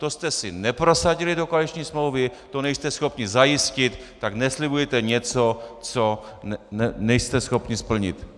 To jste si neprosadili do koaliční smlouvy, to nejste schopni zajistit, tak neslibujte něco, co nejste schopni splnit.